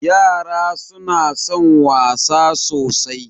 Yara suna son wasa sosai.